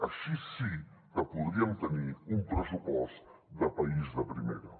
així sí que podríem tenir un pressupost de país de primera